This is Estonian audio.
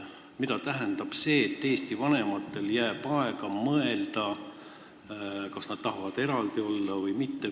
Mida tähendab see, et eesti vanematel jääb aega mõelda, kas nad tahavad, et nende lapsed on eraldi või mitte.